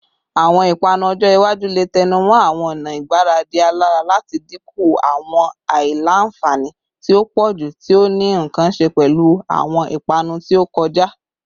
Awọn ipanu ojo iwaju le tẹnumọ awọn ọna igbaradi alara lati dinku awọn aila-nfani ti o pọju ti o ni nkan ṣe pẹlu awọn ipanu ti o kọja